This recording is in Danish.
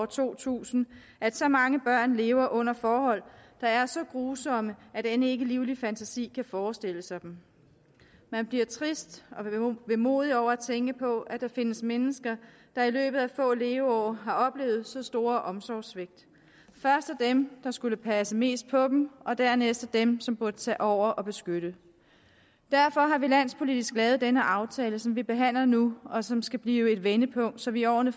to tusind at så mange børn lever under forhold der er så grusomme at end ikke en livlig fantasi kan forestille sig dem man bliver trist og vemodig over at tænke på at der findes mennesker der i løbet af få leveår har oplevet så store omsorgssvigt først af dem som skulle passe mest på dem og dernæst af dem som burde tage over og beskytte derfor har vi landspolitisk lavet den aftale som vi behandler nu og som skal blive et vendepunkt så vi i årene